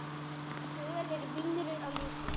Söl eru vínrauð á litinn.